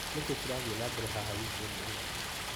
Nĩkĩĩ kĩrathiĩ na mbere haha wikendi ĩno ?